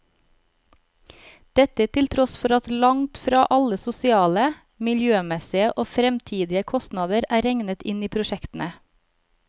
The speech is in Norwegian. Dette til tross for at langt fra alle sosiale, miljømessige og fremtidige kostnader er regnet inn i prosjektene.